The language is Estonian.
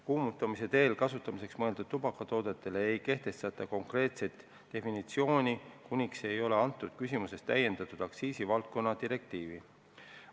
Kuumutamise teel kasutamiseks mõeldud tubakatoodetele ei kehtestata konkreetset definitsiooni, kuniks selles küsimuses ei ole täiendatud aktsiisivaldkonna direktiivi.